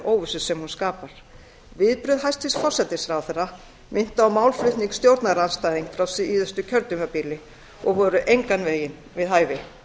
óvissu sem hún skapar viðbrögð hæstvirts forsætisráðherra minntu á málflutning stjórnarandstæðinga frá síðasta kjörtímabili og voru engan veginn við hæfi